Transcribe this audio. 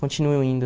Continuo indo.